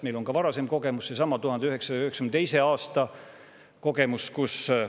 Meil on ka varasem kogemus, seesama 1992. aasta kogemus.